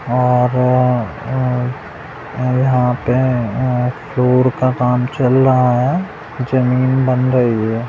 और यहां पे फ्लोर का काम चल रहा है जमीन बन रही है।